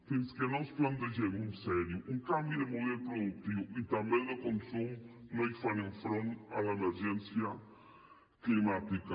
fins que no ens plantegem en sèrio un canvi de model productiu i també de consum no hi farem front a l’emergència climàtica